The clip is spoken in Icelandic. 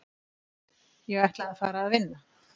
Ég ætla að fara að vinna